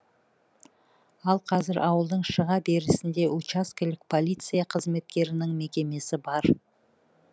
ал қазір ауылдың шыға берісінде учаскелік полиция қызметкерінің мекемесі бар